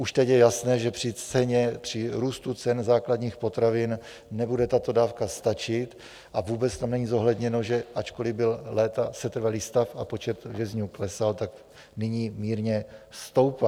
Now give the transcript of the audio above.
Už teď je jasné, že při růstu cen základních potravin nebude tato dávka stačit, a vůbec tam není zohledněno, že ačkoliv byl léta setrvalý stav a počet vězňů klesal, tak teď mírně stoupá.